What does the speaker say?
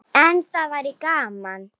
En það væri gaman.